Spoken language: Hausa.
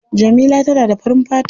Jamila tana da farin fata.